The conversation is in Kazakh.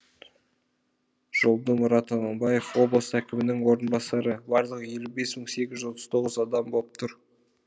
жолдымұрат аманбаев облыс әкімінің орынбасары барлығы елу бес мың сегіз жүз отыз тоғын адам боп тұр